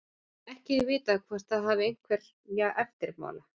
Ekki er vitað hvort það hafi einhverja eftirmála.